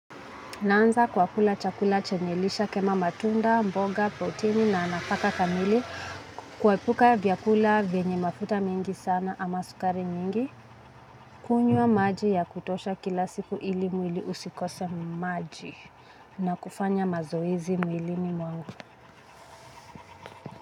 Naanza kwa kula chakula chenye lishe kama matunda, mboga, protini na nafaka kamili kuepuka vyakula venye mafuta mingi sana ama sukari mingi. Kunywa maji ya kutosha kila siku ili mwili usikose maji na kufanya mazoezi mwilini mwangu.